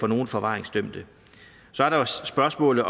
nogle forvaringsdømte så er der jo spørgsmålet